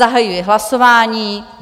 Zahajuji hlasování.